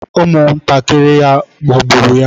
Ụmụntakịrị ya ghọgburu ya.